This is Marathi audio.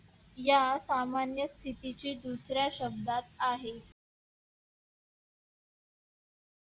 या सामान्य स्थितीची दुसऱ्या शब्दात आहे.